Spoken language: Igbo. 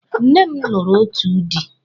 Nne m lụrụ otu dị.